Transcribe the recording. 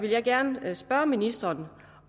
jeg gerne spørge ministeren